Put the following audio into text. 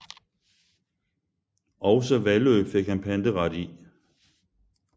Også Vallø fik han panteret i